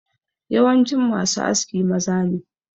Yawancin ma su aski maza ne